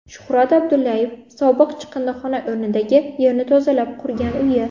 Shuhrat Abdullayev sobiq chiqindixona o‘rnidagi yerni tozalab qurgan uyi.